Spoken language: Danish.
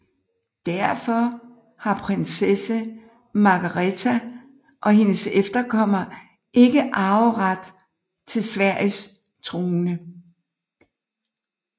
Derfor har prinsesse Margaretha og hendes efterkommere ikke arveret til Sveriges trone